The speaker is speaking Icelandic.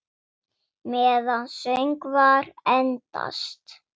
Meðan söngvar endast